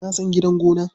Na san gidan gona.